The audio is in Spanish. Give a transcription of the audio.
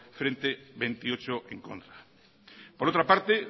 frente veintiocho en contra por otra parte